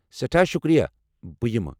سٮ۪ٹھاہ شُکریہ، بہٕ یمہٕ!